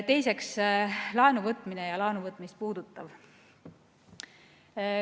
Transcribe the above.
Teiseks, laenuvõtmine ja seda puudutav.